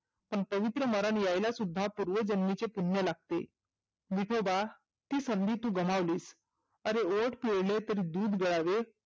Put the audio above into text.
पण पवित्र मरन येयला सुद्धा पुर्वजन्मीचे पुण्य लागते. विठोबा ती संधी तु गमावलीस आरे ओठ पिळले तरी दुध गळावे